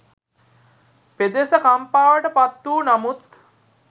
පෙදෙස කම්පාවට පත්වූ නමුත්